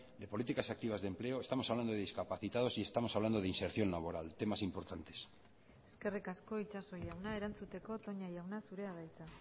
de políticas activas de empleo estamos hablando de discapacitados y estamos hablando de inserción laboral temas importantes eskerrik asko itxaso jauna erantzuteko toña jauna zurea da hitza